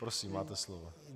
Prosím, máte slovo.